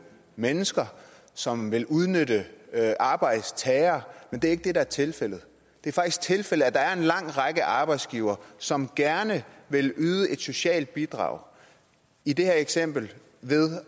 mennesker som vil udnytte arbejdstager men det er ikke det der er tilfældet det er faktisk tilfældet at der er en lang række arbejdsgivere som gerne vil yde et socialt bidrag i det her eksempel ved